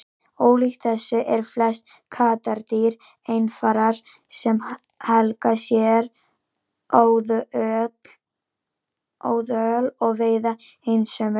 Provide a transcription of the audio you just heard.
Ólíkt þessu eru flest kattardýr einfarar sem helga sér óðöl og veiða einsömul.